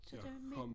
Jeg kom